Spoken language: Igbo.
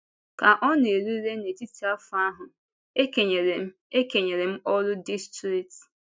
Ka ọ na-erule n’etiti afọ ahụ, e kenyere m e kenyere m ọrụ distrikti.